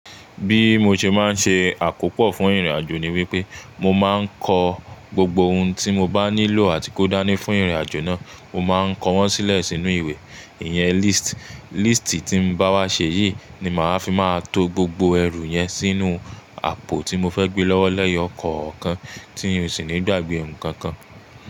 Bí mo ṣe máa ń ṣe àkópò fún ìrìnàjò ni wípé mo máa ń kọ gbogbo ohun tí mo bá nílò àti kó dání fún ìrìnàjò náà. Mo máa ń kọ wọ́n sílẹ̀ sínú ìwé, ìyẹn list. Lístì tí n bá wá ṣe yìí ni màá fi máa to gbogbo ẹrù yẹn sínú àpò tí mo fẹ́ gbé lọ́wọ́ leyo kọkan tí n ṣì ní gba gbé ohun kan kan.